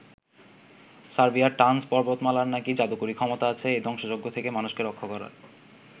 সার্বিয়ার টানজ পর্বতমালার নাকি যাদুকরি ক্ষমতা আছে এই ধ্বংসযজ্ঞ থেকে মানুষকে রক্ষার।